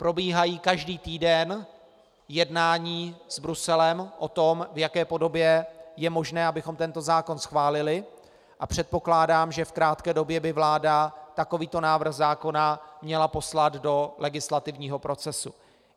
Probíhají každý týden jednání s Bruselem o tom, v jaké podobě je možné, abychom tento zákon schválili, a předpokládám, že v krátké době by vláda takovýto návrh zákona měla poslat do legislativního procesu.